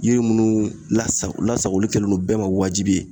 Yiri munnu lasago lasagoli kɛledon bɛɛ ma wajibi ye